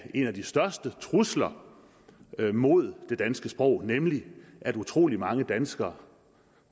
en af de største trusler mod det danske sprog nemlig at utrolig mange danskere